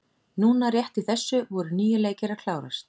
Núna rétt í þessu voru níu leikir að klárast.